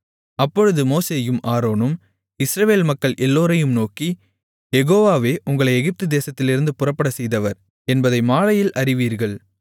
அப்பொழுது மோசேயும் ஆரோனும் இஸ்ரவேல் மக்கள் எல்லோரையும் நோக்கி யெகோவாவே உங்களை எகிப்து தேசத்திலிருந்து புறப்படச்செய்தவர் என்பதை மாலையில் அறிவீர்கள்